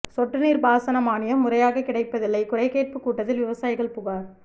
சொட்டுநீா்ப் பாசன மானியம் முறையாகக் கிடைப்பதில்லை குறைகேட்புக் கூட்டத்தில் விவசாயிகள் புகாா்